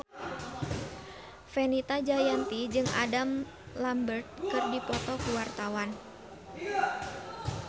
Fenita Jayanti jeung Adam Lambert keur dipoto ku wartawan